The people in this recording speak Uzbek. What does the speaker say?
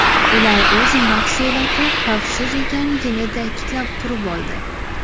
Ular o‘z mahsuloti xavfsiz ekanligini ta’kidlab turib oldi.